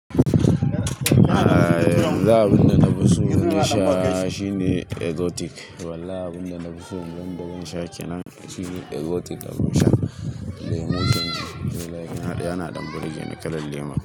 Aaa, yanzu abinda na fi so na sha shine Exotic. Wallahi, abin da na fi so don balan shakenan shine Exotic da abun sha. Lemun can yana ɗan burge ni, kalar lemun.